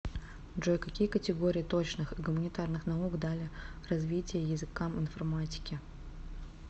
джой какие категории точных и гуманитарных наук дали развитие языкам информатики